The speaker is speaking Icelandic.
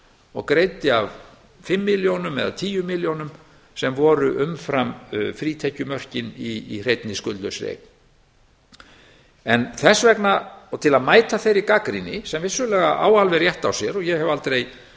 og greiddi af fimm milljónum eða tíu milljónum sem voru umfram frítekjumörkin í hreinni skuldlausri eign þess vegna til að mæta þeirri gagnrýni sem vissulega á alveg rétt á sér og ég hef aldrei